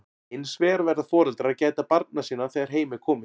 hins vegar verða foreldrar að gæta barna sinna þegar heim er komið